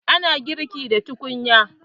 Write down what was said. Ana girki da tukunya.